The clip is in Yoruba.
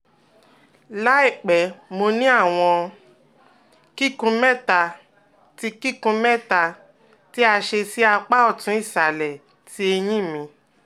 Laipẹ mo ni awọn kikun mẹta ti kikun mẹta ti a ṣe si apa ọtun isalẹ ti eyin mi